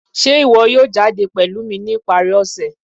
ṣe iwọ yọọ jadé pelú mí ní iparí ọṣẹ?